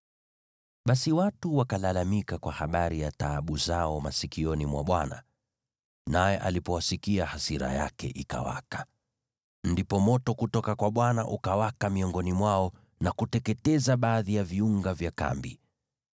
Basi watu wakalalamika kwa habari ya taabu zao masikioni mwa Bwana , naye alipowasikia, hasira yake ikawaka. Ndipo moto kutoka kwa Bwana ukawaka miongoni mwao na kuteketeza baadhi ya viunga vya kambi.